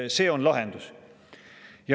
See on lahendus.